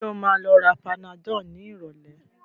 Sọ ma lọ ra panadol ní ìrọ̀lẹ́?